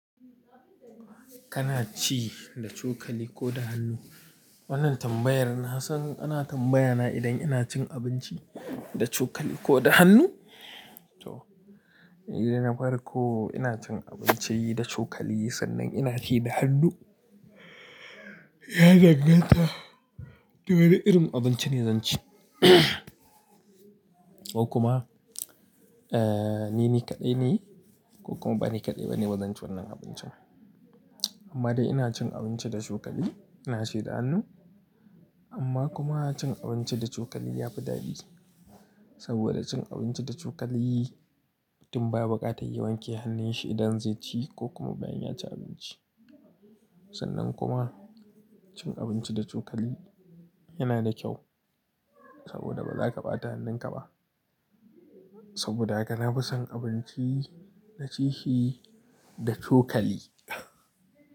Kana ci da cokali ko da hannu? Wannan tambayar na san ana tambaya na idan ina cin abinci da cokali ko da hannu. To, nidai na farko ina cin abinci da cokali sannan ina ci da hannu. Ya danganta da wani irin abinci ne zan ci ko kuma, eh, ni ne kaɗai ne ko kuma ba ni kaɗai ba ne bazan ci wannan abincin. Amma da ina cin abinci da cokali, ina ci da hannu. Amma kuma cin abinci da cokali yafi daɗi saboda cin abinci da cokali mutun baya bukatar ya wanke hannun shi idan zai ci ko kuma bayan ya ci abinci. Sannan kuma cin abinci da cokali yana da kyau saboda baza ka ɓata hannun ka ba. Saboda haka na fi son abinci na ci shi da cokali.